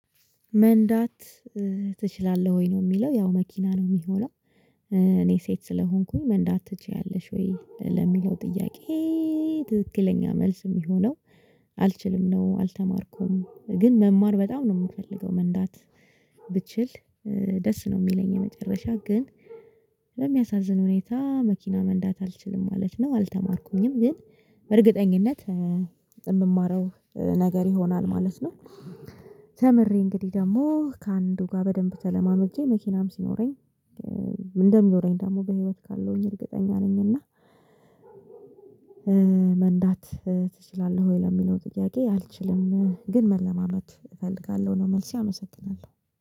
መንዳት ትችላለህ ወይ ነው የሚለው ያው መኪና ነው የሚሆነው። እኔ ሴት ስለሆንኩኝ መንዳት ትችያለሽ ወይ ለሚለው ጥያቄ። ትክክለኛ መልስ የሚሆነው አልችልም ነው። አልተማርኩም ግን መማር በጣም ነው የምፈልገው መንዳት። ብችል ደስ ነው የሚለኝ የመጨረሻ ግን። በሚያሳዝን ሁኔታ መኪና መንዳት አልችልም ማለት ነው። አልተማርኩኝም ግን በእርግጠኝነት የምማረው ነገር ይሆናል ማለት ነው። ተምሬ እንግዲህ ደግሞ ከአንዱ ጋር በደንብ ተለማምጄ መኪናም ሲኖረኝ። እንደሚኖረኝ ደግሞ በህይወት ካለሁኝ እርግጠኛ ነኝ። እና? መንዳት ትችላለህ ወይ ለሚለው ጥያቄ? አልችልም ግን መለማመድ እፈልጋለሁ ነው መልሴ አመሰግናለሁ